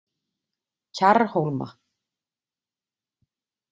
Kjarrhólma